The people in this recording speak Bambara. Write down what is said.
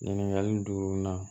Ɲininkali duru na